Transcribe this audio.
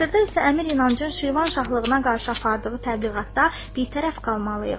Hazırda isə Əmir İnancın Şirvanşahlığına qarşı apardığı təbliğatda bitərəf qalmalıyıq.